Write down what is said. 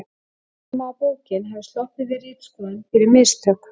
Segja má að bókin hafi sloppið við ritskoðun fyrir mistök.